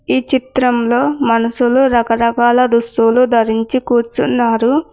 ఈ చిత్రంలో మనసులు రకరకాల దుస్తులు ధరించి కూర్చున్నారు.